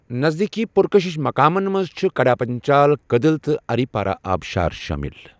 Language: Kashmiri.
نزدیٖکی پُرکٔشِش مقامن مَنٛز چھِ کڈا پنچال کدٕل تہٕ اریپارہ آبشار شٲمِل۔